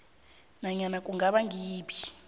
nanyana kungaba ngiyiphi